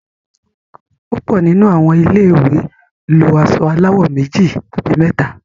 púpọ nínú àwọn ilé ìwé lọ aṣọ aláwò méjì àbí méta.